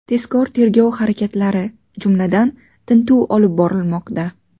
Tezkor-tergov harakatlari, jumladan, tintuv olib borilmoqda.